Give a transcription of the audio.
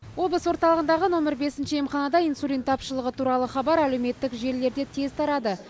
облыс орталығындағы нөмір бесінші емханада инсулин тапшылығы туралы хабар әлеуметтік желілерде тез тарады